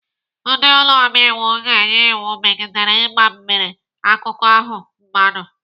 Ndị ụlọ omeiwu ga-enye iwu megidere ịgba mgbere akụkụ ahụ mmadụ.